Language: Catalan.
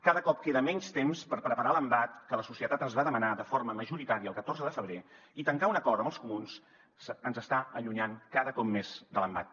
cada cop queda menys temps per preparar l’embat que la societat ens va demanar de forma majoritària el catorze de febrer i tancar un acord amb els comuns ens està allunyant cada cop més de l’embat